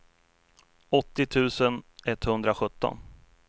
åttio tusen etthundrasjutton